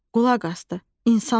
Qulaq asdı, insanlar idi.